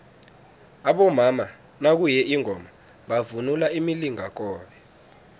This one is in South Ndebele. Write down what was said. abomama nakuye ingoma bavunula imilingakobe